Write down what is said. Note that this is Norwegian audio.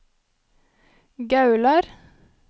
Gaular